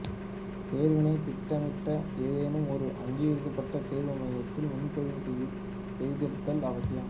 தேர்வினை திட்டமிட ஏதேனும் ஒரு அங்கீகரிக்கப்பட்ட தேர்வு மையத்தில் முன்பதிவு செய்திருத்தல் அவசியம்